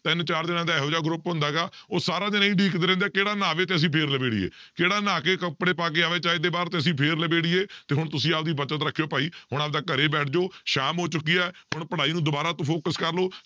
ਤਿੰਨ ਚਾਰ ਜਾਣਿਆਂ ਦਾ ਇਹੋ ਜਿਹਾ group ਹੁੰਦਾ ਗਾ ਉਹ ਸਾਰਾ ਦਿਨ ਇਹੀ ਉਡੀਕਦੇ ਰਹਿੰਦੇ ਆ, ਕਿਹੜਾ ਨਹਾਵੇ ਤੇ ਅਸੀਂ ਫਿਰ ਲਬੇੜੀਏ, ਕਿਹੜਾ ਨਹਾ ਕੇ ਕੱਪੜੇ ਪਾ ਕੇ ਆਵੇ ਚੱਜ ਦੇ ਬਾਹਰ ਤੇ ਅਸੀਂ ਫਿਰ ਲਬੇੜੀਏ ਤੇ ਹੁਣ ਤੁਸੀਂ ਆਪਦੀ ਬਚਤ ਰੱਖਿਓ ਭਾਈ, ਹੁਣ ਆਪਦਾ ਘਰੇ ਬੈਠ ਜਾਓ ਸ਼ਾਮ ਹੋ ਚੁੱਕੀ ਹੈ, ਹੁਣ ਪੜ੍ਹਾਈ ਨੂੰ ਦੁਬਾਰਾ ਤੋਂ focus ਕਰ ਲਓ